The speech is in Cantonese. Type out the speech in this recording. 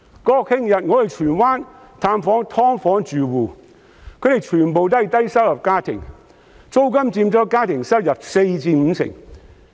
國慶日，我到荃灣探訪"劏房"住戶，他們全部都是低收入家庭，租金佔家庭收入四成至五成。